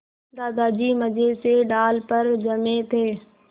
दादाजी मज़े से डाल पर जमे थे